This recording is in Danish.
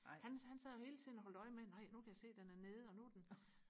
han han sad jo hele tiden og holdt øje med nej nu kan jeg se den er nede og nu er den